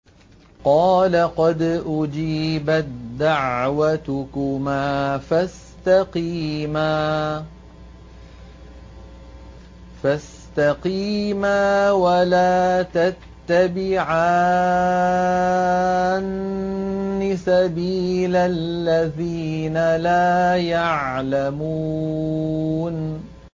قَالَ قَدْ أُجِيبَت دَّعْوَتُكُمَا فَاسْتَقِيمَا وَلَا تَتَّبِعَانِّ سَبِيلَ الَّذِينَ لَا يَعْلَمُونَ